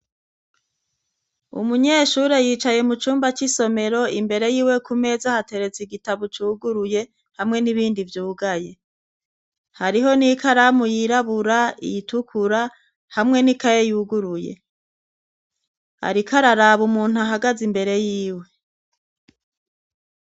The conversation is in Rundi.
Umunyeshure yicaye mu cumba c'isomero imbere yiwe ku meza hateretsa igitabo cuguruye hamwe n'ibindi vyugaye. Hariho n'ikaramu yirabura, iyitukura , hamwe n'ikaye yuguruye. Ariko araraba umuntu ahagaze imbere yiwe.